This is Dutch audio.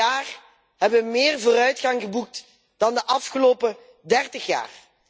De laatste twee jaar hebben we meer vooruitgang geboekt dan in de afgelopen 30 jaar.